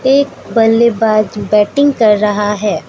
एक बल्लेबाज बैटिंग कर रहा है।